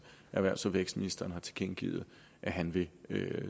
erhvervs og vækstministeren har tilkendegivet at han vil